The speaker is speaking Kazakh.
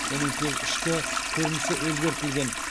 оның тек ішкі көрінісі өзгертілген